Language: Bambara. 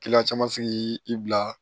caman sigi i bila